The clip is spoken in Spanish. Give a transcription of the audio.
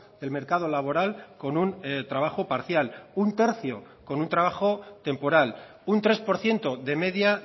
del mercado laboral con un trabajo parcial un tercio con un trabajo temporal un tres por ciento de media